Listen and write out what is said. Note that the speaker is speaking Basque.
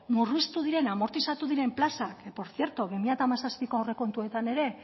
murriztu diren amortizatu diren plazak que por cierto bi mila hamazazpiko aurrekontuetan ere